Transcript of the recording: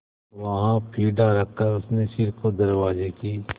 वहाँ पीढ़ा रखकर उसने सिर को दरवाजे की